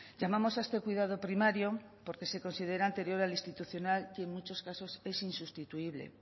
llamamos a este cuidado primario porque se considera anterior al institucional y en muchos casos es insustituible